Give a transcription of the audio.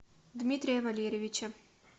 дмитрия валерьевича